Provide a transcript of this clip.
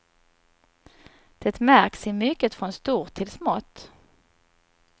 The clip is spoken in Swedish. Det märks i mycket från stort till smått.